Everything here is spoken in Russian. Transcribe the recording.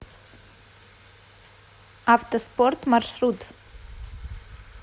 автоспорт маршрут